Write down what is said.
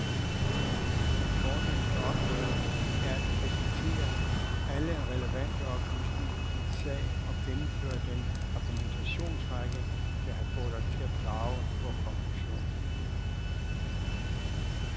Vor fornemste opgave er at præsentere alle relevante oplysninger i en sag og gennemføre den argumentationsrække, der har fået os til at drage vor konklusion.